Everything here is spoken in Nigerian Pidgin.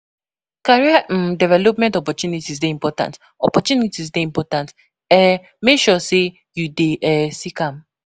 Career um development opportunities dey important opportunities dey important; um make sure say you dey [um]seek am.